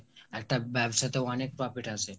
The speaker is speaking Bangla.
একটা ব্যবসাতে অনেক profit আসে